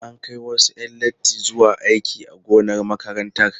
An kai wasu 'yan latti zuwa aiki a gonar makarantar.